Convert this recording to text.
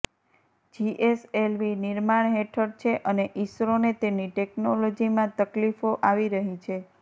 GSLV નિર્માણ હેઠળ છે અને ઇસરોને તેની ટૅક્નોલોજીમાં તકલીફો આવી રહી છે